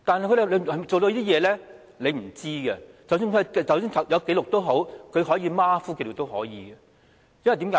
我們並不知道，即使有紀錄，也可以是馬虎地記錄，為甚麼呢？